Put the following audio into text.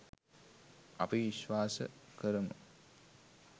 අපි විශ්වාස කරමු.